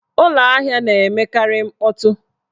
Ụlọahịa na-emekarị mkpọtụ.